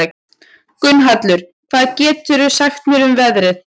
Gunnhallur, hvað geturðu sagt mér um veðrið?